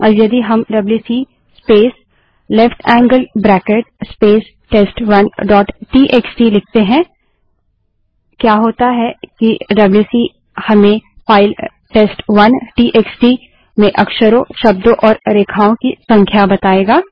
अब यदि हम WC space left handed bracket space test one dot TXT WC space left angled bracket space test one dot TXT लिखते हैं क्या होता है कि डब्ल्यूसी हमें फाइल टेस्ट1 टीएक्सटी में अक्षरों शब्दों और रेखाओं की संख्या बतायेगा